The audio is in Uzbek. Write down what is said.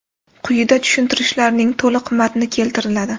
Quyida tushuntirishlarning to‘liq matni keltiriladi.